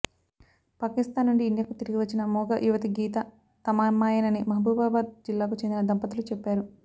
పాకిస్తాన్ నుండి ఇండియాకు తిరిగివచ్చిన మూగ యువతి గీత తమ అమ్మాయేనని మహబూబాబాద్ జిల్లాకు చెందిన దంపతులు చెప్పారు